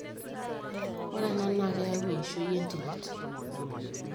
ore ena naa keyau eishoi enterit